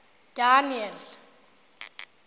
daniel